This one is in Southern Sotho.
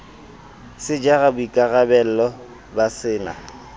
se jara boikarabello ba sena